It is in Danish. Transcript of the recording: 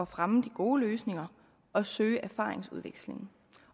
fremme de gode løsninger og søge erfaringsudvekslingen